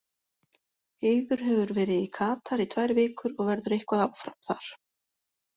Eiður hefur verið í Katar í tvær vikur og verður eitthvað áfram þar.